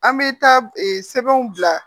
An bɛ taa sɛbɛnw bila